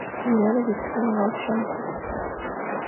елены викторовны волченко